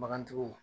Bagantigiw